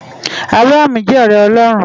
Abraham jè òrè Òlòrún